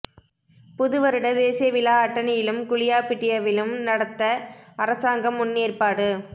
புது வருட தேசிய விழா அட்டனிலும் குளியாபிட்டியவிலும் நடத்த அரசாங்கம் முன் ஏற்பாடு